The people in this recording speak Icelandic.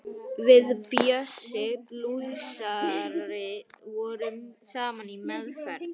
Við Bjössi blúsari vorum saman í meðferð.